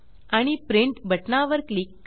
आणि प्रिंट बटनावर क्लिक करा